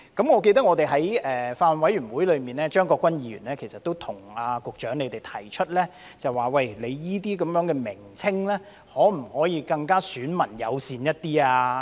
我記得在法案委員會會議上，張國鈞議員其實亦曾向局長提出，這些名稱可否更"選民友善"一點。